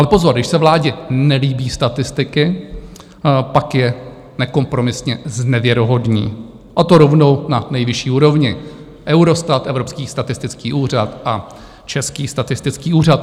Ale pozor, když se vládě nelíbí statistiky, pak je nekompromisně znevěrohodní, a to rovnou na nejvyšší úrovni - Eurostat, Evropský statistický úřad a Český statistický úřad.